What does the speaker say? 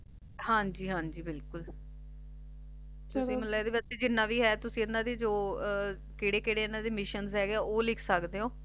ਹਾਂਜੀ ਹਾਂਜੀ ਬਿਲਕੁਲ ਤੁਸੀ ਇਸ ਵਿੱਚ ਜਿਹੜੇ ਇੰਨਾ ਦੇ ਜੌ ਕਿਹੜੇ ਕਿਹੜੇ ਇਹਨਾਂ ਦੇ ਮਿਸ਼ਨ ਹੈਗੇ ਏ ਓਹ ਲਿਖ ਸਕਦੇ